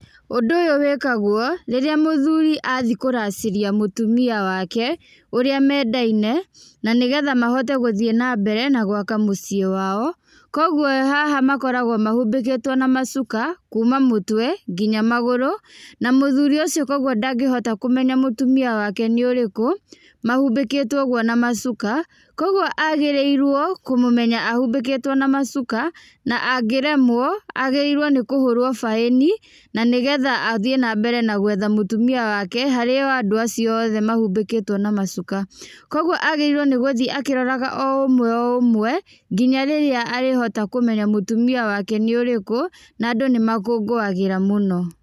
Ũndũ ũyũ wĩkagwo rĩrĩa mũthuri athiĩ kũracĩria mũtumia wake ũrĩa mendaine na nĩgetha mahote gũthiĩ na mbere na gwaka mũciĩ wao, kogwo haha makoragwo mahumbĩkĩtwo na macuka kuma mũtwe nginya magũrũ, na mũthuri ũcio rĩu ndangĩhota kũmenya mũtũmia wa ke nĩ ũrĩkũ mahumbĩkĩtwo ũguo na macuka, kogwo agĩrĩirwo kũmũmenya ahumbĩkĩtwo na macuka na angĩremwo agĩrĩirwo nĩ kũhũrwo baĩni na nĩgetha athiĩ na mbere na gwetha mũtumia wake harĩ o andũ acio othe mahumbĩkĩtwo na macuka, kogwo agĩrĩirwo nĩgũthiĩ akĩroraga o ũmwe o ũmwe nginya rĩrĩa arĩhota kũmenya mũtumia wake nĩ ũrĩkũ na andũ nĩ makũngũwagĩra mũno.